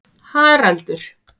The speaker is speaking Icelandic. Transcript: Haraldur